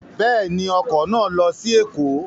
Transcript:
Bẹ́ẹ̀ni, ọkọ̀ náà lọ sí Ẹ̀kọ́